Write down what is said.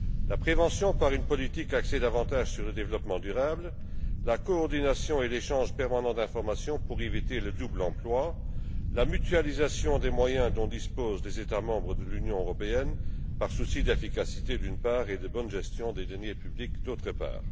La prévention, par une politique axée davantage sur le développement durable, la coordination et l'échange permanent d'informations pour éviter le double emploi, la mutualisation des moyens dont disposent les États membres de l'Union européenne, par souci d'efficacité, d'une part, et de bonne gestion des deniers publics, d'autre part.